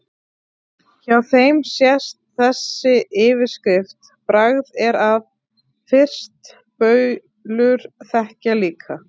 Hjá þeim sést þessi yfirskrift: Bragð er að, fyrst baulur þekkja líka